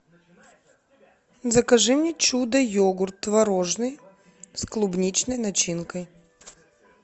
закажи мне чудо йогурт творожный с клубничной начинкой